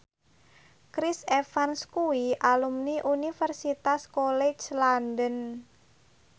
Chris Evans kuwi alumni Universitas College London